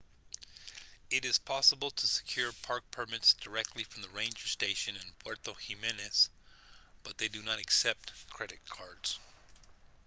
it is possible to secure park permits directly from the ranger station in puerto jiménez but they do not accept credit cards